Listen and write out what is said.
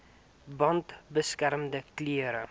bande beskermende klere